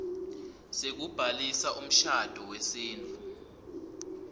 sekubhalisa umshado wesintfu